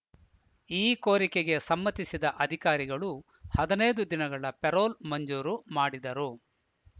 ಈ ಕೋರಿಕೆಗೆ ಸಮ್ಮತಿಸಿದ ಅಧಿಕಾರಿಗಳು ಹದಿನೈದು ದಿನಗಳ ಪೆರೋಲ್‌ ಮಂಜೂರು ಮಾಡಿದರು